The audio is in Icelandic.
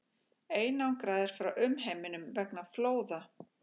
Einangraðir frá umheiminum vegna flóða